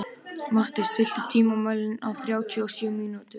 Matti, stilltu tímamælinn á þrjátíu og sjö mínútur.